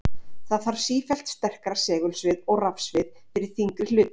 Því þarf sífellt sterkara segulsvið og rafsvið fyrir þyngri hluti.